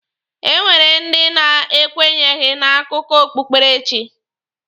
E nwere ndi na-ekwenyeghị n'akụkọ okpukpere chi.